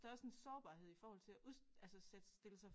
Der også en sårbarhed i forhold til at ud altså sætte stille sig